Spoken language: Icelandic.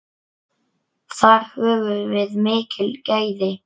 Þar höfum við mikil gæði.